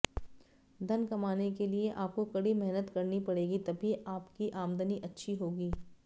धन कमाने के लिए आपको कड़ी मेहनत करनी पड़ेगी तभी आपकी आमदनी अच्छी होगी